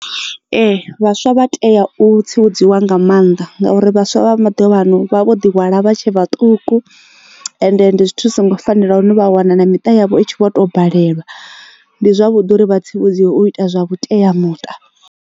Ee vhaswa vha tea u tsivhudziwa nga maanḓa ngauri vhaswa vha maḓuvhano vha vho ḓi hwala vha tshe vhaṱuku ende ndi zwithu zwi so ngo fanela hune vha wana na miṱa yavho i tshi vho tou balelwa ndi zwavhuḓi uri vha tsivhudziwa u ita zwa vhuteamuṱa.